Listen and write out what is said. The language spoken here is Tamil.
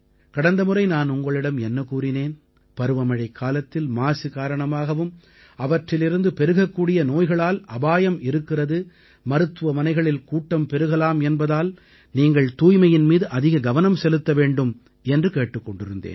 கடந்த முறை நான் உங்களிடம் என்ன கூறினேன் பருவமழைக்காலத்தில் மாசு காரணமாகவும் அவற்றிலிருந்து பெருகக்கூடிய நோய்களால் அபாயம் இருக்கிறது மருத்துவமனைகளில் கூட்டம் பெருகலாம் என்பதால் நீங்கள் தூய்மையின் மீது அதிக கவனம் செலுத்த வேண்டும் என்று கேட்டுக் கொண்டிருந்தேன்